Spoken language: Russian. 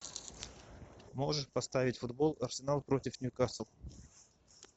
можешь поставить футбол арсенал против ньюкасл